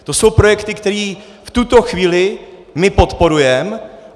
To jsou projekty, které v tuto chvíli my podporujeme.